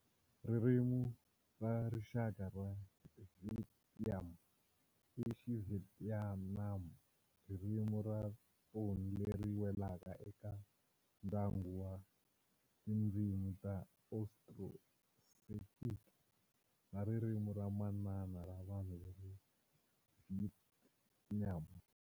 Ririmi ra rixaka ra Vietnam i Xivietnam, ririmi ra thoni leri welaka eka ndyangu wa tindzimi ta Austroasiatic na ririmi ra manana ra vanhu va le Vietnam.